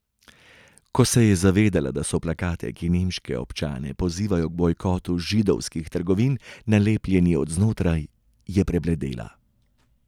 Ko se je zavedela, da so plakati, ki nemške občane pozivajo k bojkotu židovskih trgovin, nalepljeni od znotraj, je prebledela.